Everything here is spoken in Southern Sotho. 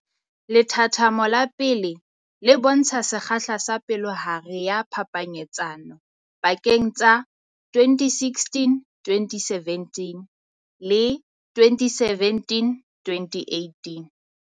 Lethathamo la 1 le bontsha sekgahla sa palohare ya phapanyetsano pakeng tsa 2016-2017 le 2017-2018.